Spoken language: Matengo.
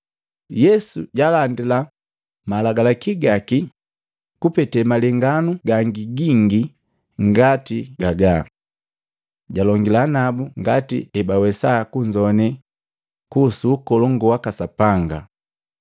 Yesu jalandila malagi gaki kupete malenganu gangi gingi ngati gagaa. Jalongila nabu ngati ebawesa kunzoane kuhusu Ukolongu waka Sapanga.